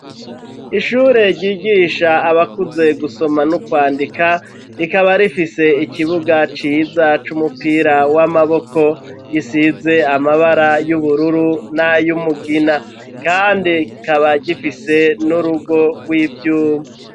Ishure ryigisha abakuze gusoma no kwandika rikaba rifise ikibuga ciza c'umupira w'amaboko gisize amabara y'ubururu n'ayumugina kandi kikaba gifise n'urugo rw'ivyuma.